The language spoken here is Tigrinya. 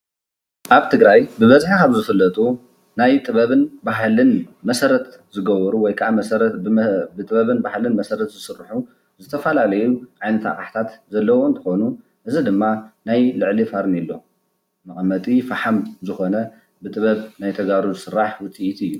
ኣብ ትግራይ ብበዝሒ ካብ ዝፍለጡ ናይ ጥበብን ባህልን መሰረት ዝገብሩ ወይከኣ ብጥበብ ባህልን መሰረት ዝስርሑ ዝተፈላለዩ ዓይነት ኣቕሓታት ዘለዎ እንትኾኑ እዚ ድማ ናይ ልዕሊ ፌርኔሎ መቐመጢ ፈሓም ዝኾነ ብጥበብ ናይ ተጋሩ ዝስራሕ ውፅኢት እዩ፡፡